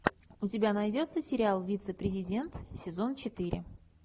у тебя найдется сериал вице президент сезон четыре